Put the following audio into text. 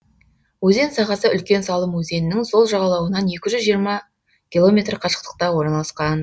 өзен сағасы үлкен салым өзенінің сол жағалауынан екі жүз жиырма километр қашықтықта орналасқан